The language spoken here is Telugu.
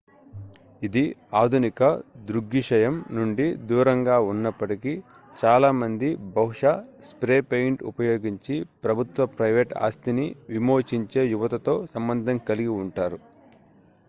ఇది ఆధునిక దృగ్విషయం నుండి దూరంగా ఉన్నప్పటికీ చాలామంది బహుశా స్ప్రే పెయింట్ ఉపయోగించి ప్రభుత్వ ప్రైవేట్ ఆస్తిని విమోచించే యువతతో సంబంధం కలిగి ఉంటారు